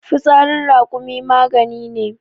fitsarin rakumi magani ne